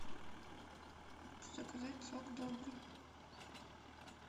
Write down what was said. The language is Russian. заказать сок добрый